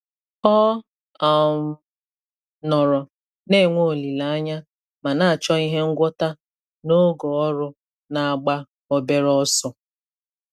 Ọ um nọrọ na-enwe olileanya ma na-achọ ihe ngwọta n'oge ọrụ na-agba obere ọsọ.